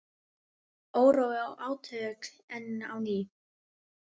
Órói og átök enn á ný